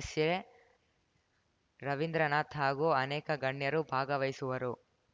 ಎಸ್‌ಎರವೀಂದ್ರನಾಥ್‌ ಹಾಗೂ ಅನೇಕ ಗಣ್ಯರು ಭಾಗವಹಿಸುವರು